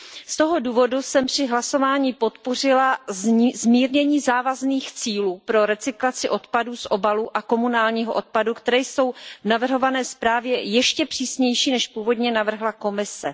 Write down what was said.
Z toho důvodu jsem při hlasování podpořila zmírnění závazných cílů pro recyklaci odpadu z obalů a komunálního odpadu, které jsou v navrhované zprávě ještě přísnější, než původně navrhla Komise.